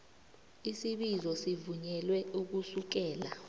isibizo sivunyelwe ukusukela